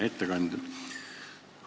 Hea ettekandja!